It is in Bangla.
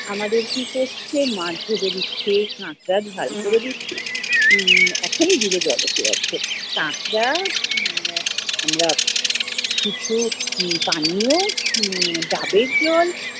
আমাদের কি করছে মাছ ভেজে দিচ্ছে, কাকড়া ঝাল করে দিচ্ছে, উম এখনি জিভে জল এসে যাচ্ছে। কাকড়া, আহ কিছু পানীয়, উম ডাবের জল,